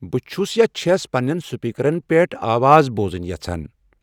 بہٕ چھُس یا چھَس پننٮ۪ن سپیکرَس پٮ۪ٹھ آواز بوٚزُن یژھان